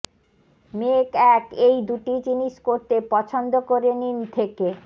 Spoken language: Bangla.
মেক এক এই দুটি জিনিস করতে পছন্দ করে নিন থেকে